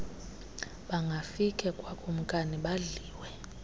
bangafike kwakumkani badliwe